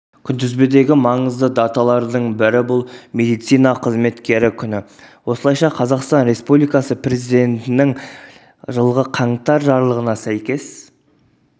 күнтізбедегі маңызды даталардың бірі бұл медицина қызметкері күні осылайша қазақстан республикасы президентінің жылғы қаңтар жарлығына сәйкес